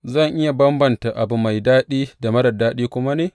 Zan iya bambanta abu mai daɗi da marar daɗi kuma ne?